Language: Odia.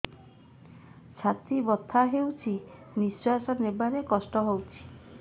ଛାତି ବଥା ହଉଚି ନିଶ୍ୱାସ ନେବାରେ କଷ୍ଟ ହଉଚି